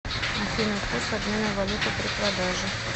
афина курс обмена валюты при продаже